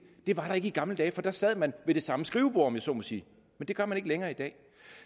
det var der ikke i gamle dage for der sad man ved det samme skrivebord om jeg så må sige det gør man ikke længere i dag